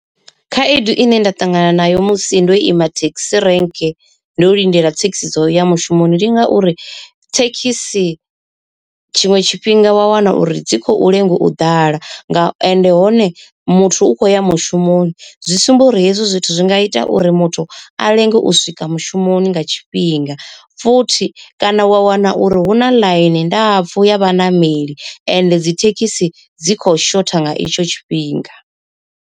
Khaedu ine nda ṱangana nayo musi ndo ima thekhisi rank ndo lindela thekhisi dzo uya mushumoni ndi ngauri, thekhisi tshiṅwe tshifhinga wa wana uri dzi khou lenga u ḓala nga ende hone muthu u khou ya mushumoni, zwi sumba uri hezwi zwithu zwi nga ita uri muthu a lenge u swika mushumoni nga tshifhinga. Futhi kana wa wana uri hu na ḽaini ndapfu ya vhaṋameli ende dzi thekhisi dzi kho shotha nga itsho tshifhinga.